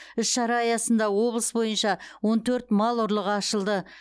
іс шара аясында облыс бойынша он төрт мал ұрлығы ашылды